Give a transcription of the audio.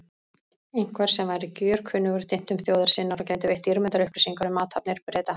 Einhvers sem væri gjörkunnugur dyntum þjóðar sinnar og gæti veitt dýrmætar upplýsingar um athafnir Breta.